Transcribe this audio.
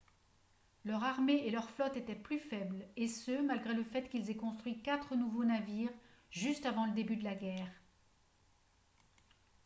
leur armée et leur flotte étaient plus faibles et ce malgré le fait qu'ils aient construit quatre nouveaux navires juste avant le début de la guerre